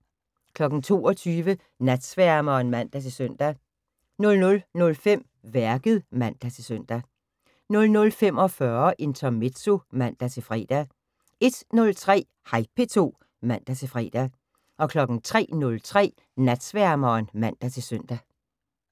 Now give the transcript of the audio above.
22:00: Natsværmeren (man-søn) 00:05: Værket (man-søn) 00:45: Intermezzo (man-fre) 01:03: Hej P2 (man-fre) 03:03: Natsværmeren (man-søn)